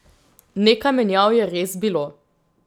Nekaj menjav je res bilo.